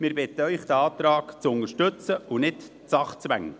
Wir bitten Sie, diesen Antrag zu unterstützen, und nicht die Sachzwänge.